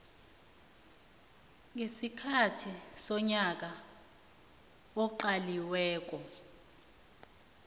ngesikhathi sonyaka oqaliweko